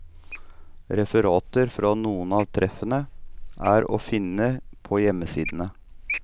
Referater fra noen av treffene er å finne på hjemmesidene.